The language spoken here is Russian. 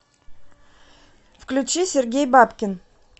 включи сергей бабкин